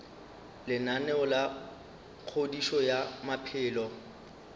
lenaneo la kgodišo ya maphelo